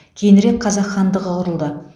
кейінірек қазақ хандығы құрылды